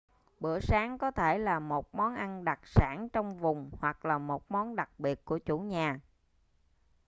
bữa sáng có thể là một món ăn đặc sản trong vùng hoặc là một món đặc biệt của chủ nhà